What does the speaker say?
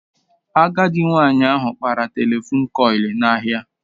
Agadị nwanyị ahụ kpara telefon kọịlị n'ahịa